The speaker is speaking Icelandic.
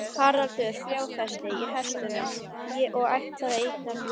Haraldur fjárfesti í hestum og ætlaði að eignast búgarð.